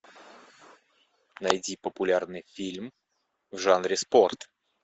найди популярный фильм в жанре спорт